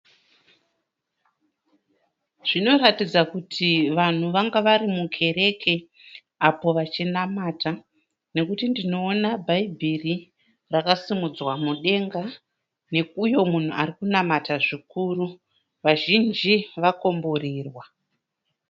Zvinoratidza kuti vanhu vanga vari mukereke apo vachinamata nokuti ndinoona bhaibhiri rakasimudzwa mudenga neuyo munhu arikunamata zvikuru vazhinji vakomborerwa.